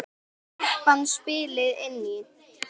Kreppan spilaði inn í.